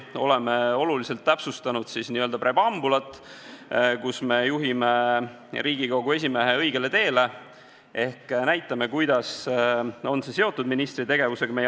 Oleme oluliselt täpsustanud preambulit, kus me juhime Riigikogu esimehe õigele teele ehk näitame, kuidas on see arupärimine seotud ministri tegevusega.